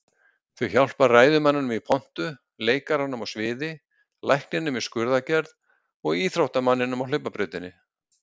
Þau hjálpa ræðumanninum í pontu, leikaranum á sviði, lækninum í skurðaðgerð, og íþróttamanninum á hlaupabrautinni.